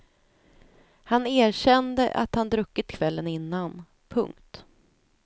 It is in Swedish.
Han erkände att han druckit kvällen innan. punkt